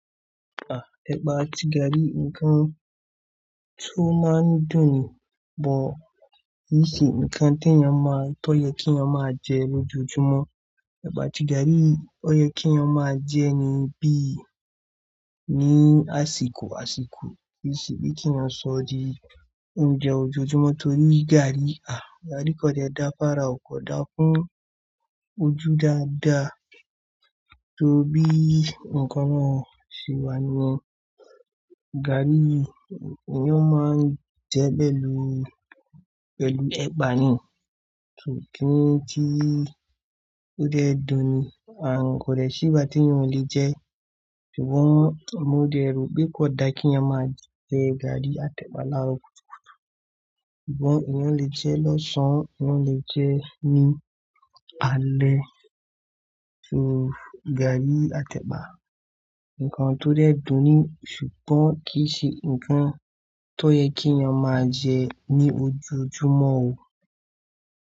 À, ẹ̀bà àti gàrí nǹkan tó máa ń dùn ún bọ̀. Kì í ṣe nǹkan tó yẹ kí ènìyàn máa jẹ lójoojúmọ́. Ẹ̀bà àti gàrí, ó yẹ kí ènìyàn máa jẹ́ èní bí ì ní àsìkò àsìkò. Kì í ṣe bí kí ènìyàn sọ di oúnjẹ ojoojúmọ́ torí gàrí, à, gàrí kò da fára, kò da fún ojú dáadáa. Torí bí ǹkan kan ṣe wà ni wọ́n, gàrí ni wọ́n máa ń jẹ bẹ̀lú, bẹ̀lú ẹ̀bà ni, ṣùgbọ́n kí ó tó dẹ dùn ún, à, kò rẹ̀ sí ìgbà tí ènìyàn ò lè jẹ ẹ́. Ṣùgbọ́n mo dẹ̀ rò pé kò da kí ènìyàn máa jẹ gàrí àtẹ̀bà láro kutukutu Ṣùgbọ́n ènìyàn lè jẹ ẹ́ lọ́sàn-án, ènìyàn lè jẹ ẹ́ ní alẹ́. Ṣó, gàrí àtẹ̀bà, ǹkan tó dẹ dùn ún, ṣùgbọ́n kì í ṣe ǹkan tó yẹ kí ènìyàn máa jẹ ní ojoojúmọ́ o.